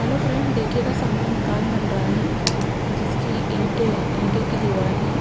Hello friends देखिएगा सामने मकान बन रहा है जिसकी ईंटे ईंटे की दीवाल है।